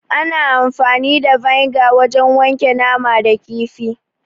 Ana amfani da vinegar wajen wanke nama da kifi.